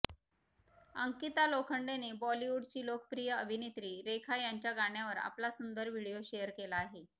अंकिता लोखंडेने बॉलिवूडची लोकप्रिय अभिनेत्री रेखा यांच्या गाण्यावर आपला सुंदर व्हिडिओ शेअर केला आहे